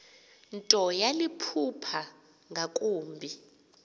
nto yaliphupha ngakumbi